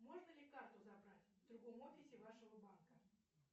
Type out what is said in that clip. можно ли карту забрать в другом офисе вашего банка